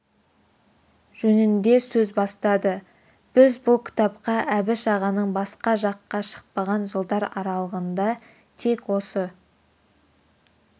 жөнінде сөз бастады біз бұл кітапқа әбіш ағаның басқа жаққа шықпаған жылдар аралығында тек осы